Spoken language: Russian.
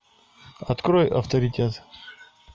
открой авторитет